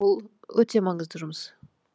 бұл өте маңызды жұмыс